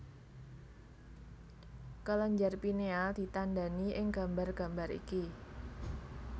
Kelenjar Pineal ditandhani ing gambar gambar iki